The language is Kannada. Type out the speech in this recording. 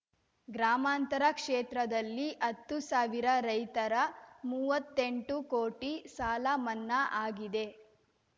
ಗ್ರಾಮಾಂತರ ಕ್ಷೇತ್ರದಲ್ಲಿ ಹತ್ತು ಸಾವಿರ ರೈತರ ಮೂವತ್ತೆಂಟು ಕೋಟಿ ಸಾಲ ಮನ್ನಾ ಆಗಿದೆ